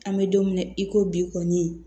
An bɛ don min na i ko bi kɔni